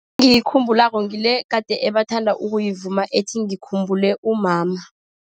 Engiyikhumbulako ngile egade bathanda ukuyivuma ethi ngikhumbule umama.